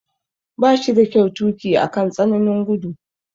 Ba shi da kyau tuki akan tsananin gudu.